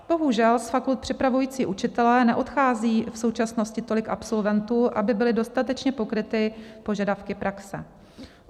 Bohužel z fakult připravujících učitele neodchází v současnosti tolik absolventů, aby byly dostatečně pokryty požadavky praxe.